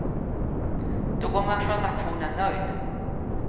Då går man från auktionen nöjd.